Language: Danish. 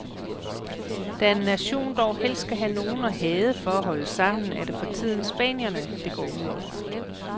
Da en nation dog helst skal have nogen at hade for at holde sammen, er det for tiden spanierne, det går ud over.